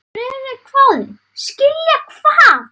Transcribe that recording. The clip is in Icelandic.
Friðrik hváði: Skilja hvað?